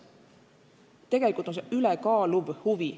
Tegelikult on see "ülekaaluv huvi".